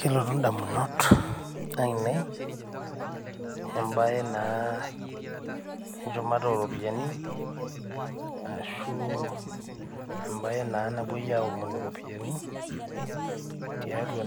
Kelotu indamunot aainei embaye naa enchumata ooropiyiani ashuu embaye naa napuoi aaomonu iropiyiani tiatua